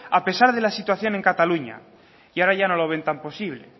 a pesar de la situación en cataluña y ahora no lo ven tan posible